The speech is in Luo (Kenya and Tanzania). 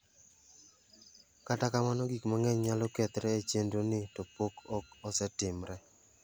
Kata kamano gik mang'eny nyalo kethre e chendro ni to pok ok osetimre.